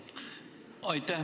Aitäh!